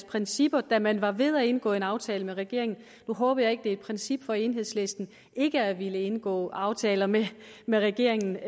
principper da man var ved at indgå en aftale med regeringen nu håber jeg ikke at det er et princip for enhedslisten ikke at ville indgå en aftale med med regeringen